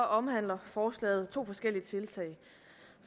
omhandler forslaget to forskellige tiltag